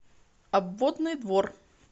обводный двор